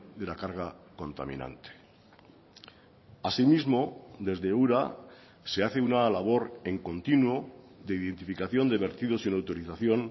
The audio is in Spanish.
de la carga contaminante así mismo desde ura se hace una labor en continuo de identificación de vertidos sin autorización